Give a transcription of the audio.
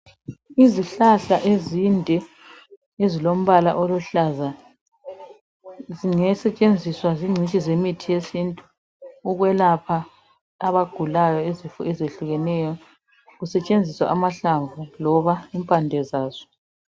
Izihlahla ezinde ezimbala oluhlaza zingasetshenziswa zingcitshi zomuthi wesintu ukuyelapha abagulayo izifo ezehlukeneyo kusestshenziswa amahlamvu loba impande zaso